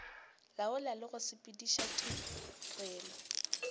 laola le go sepediša tirelo